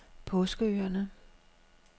Påskeøerne